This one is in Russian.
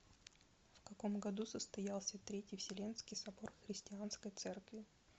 в каком году состоялся третий вселенский собор христианской церкви